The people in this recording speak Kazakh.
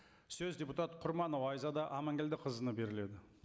сөз депутат құрманова айзада аманкелдіқызына беріледі